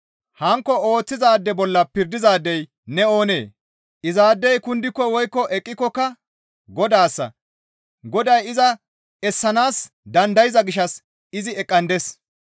Hankko ooththizaade bolla pirdizaadey ne oonee? Izaadey kundiko woykko eqqikokka Godaassa; Goday iza essanaas dandayza gishshas izi eqqandes.